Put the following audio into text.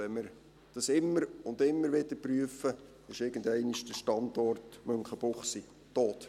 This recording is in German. Wenn wir dies immer und immer wieder prüfen, ist der Standort Münchenbuchsee irgendeinmal tot.